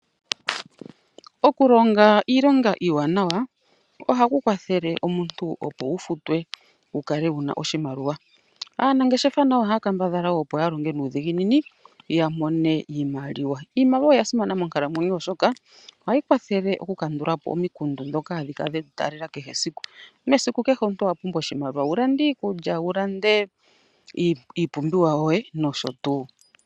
Okulonga iilonga iiwanawa ohaku kwathele omuntu opo wu futwe wu kale wu na oshimaliwa. Aanangeshefa nayo wo ohaya kambadhala opo ya longe nuudhiginini ya mone iimaliwa. Iimaliwa oya simana monkalamwenyo, oshoka ohayi kwathele okukandula po omikundu ndhoka hadhi kala dhe tu taalela esiku kehe. Mesiku omuntu owa pumbwa oshimaliwa wu lande iikulya, wu lande iipumbiwa yoye nosho tuu.